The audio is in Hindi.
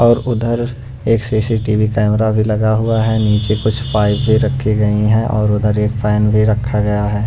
और उधर एक सी_सी_टी_वी कैमरा भी लगा हुआ है नीचे कुछ पाइप भी रखी गई है और उधर एक फैन भी रखा गया है।